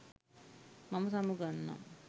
මම සමුගන්නම්